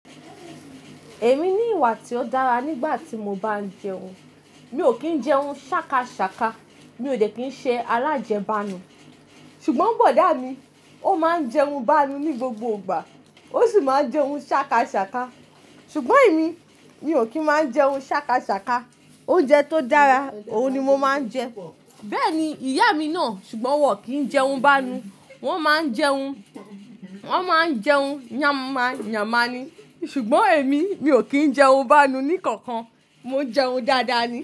Èmi ní ìwà tí ó dára nígbà tí mo bá ń jẹun. Mi ò kì ń jẹun sákasàka. Mi ò dẹ̀ kí ń ṣe alájẹbánu. Ṣùgbọ́n bọ̀dá mi, ó máa ń jẹun báa nu ní gbogbo ìgbà, ó sì máa ń jẹun sákasàka. Ṣùgbọ́n èmi, mi ò kí ń máa ń jẹun sákasàka. Oúnjẹ tó dára, òun ni mo máa ń jẹ. Bẹ́ẹ̀ ni ìyá mi ná. Ṣùgbọ́n wọ́n kì ń jẹun báa nu. Wọ́n máa ń jẹun, wọ́n máa ń jẹun yànma yànma ni. Ṣùgbọ́n èmi, mi ò kí ń jẹun báa nu ní kankan. Mo jẹun dáadáa ni.